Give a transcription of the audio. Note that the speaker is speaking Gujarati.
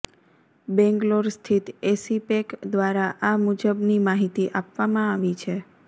બેંગલોર સ્થિત એસીપેક દ્વારા આ મુજબની માહિતી આપવામાં આવી છે